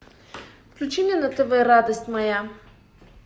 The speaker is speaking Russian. включи мне на тв радость моя